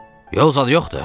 Yol zad yoxdur!